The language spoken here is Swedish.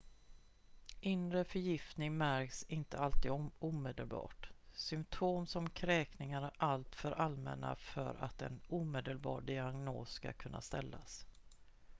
inre förgiftning märks inte alltid omedelbart symptom som kräkningar är alltför allmänna för att en omedelbar diagnos ska kunna ställas